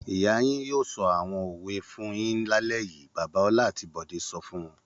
Ìyá yín yóò sọ àwọn òwe fún yín lálẹ́ yìí! Bàbá Ọlá àti Bọ̀dé sọ fún wọn.